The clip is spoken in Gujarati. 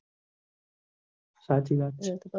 હ્સચી વાત છે